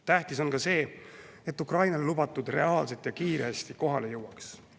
Tähtis on ka see, et Ukrainale lubatu reaalselt ja kiiresti kohale jõuaks.